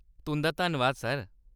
तुं'दा धन्नवाद, सर।